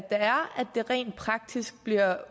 det rent praktisk bliver